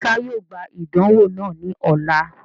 Musa yoo gba idanwo naa ni ọla.